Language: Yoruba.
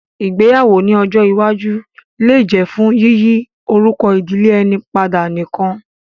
Ìgbéyàwó ní ọjọ́ iwájú lè jẹ́ fún yíyí orúkọ ìdílé ẹni padà nìkan